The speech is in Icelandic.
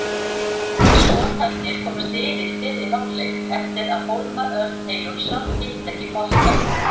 Skotarnir komust yfir í fyrri hálfleik eftir að Hólmar Örn Eyjólfsson hitti ekki boltann.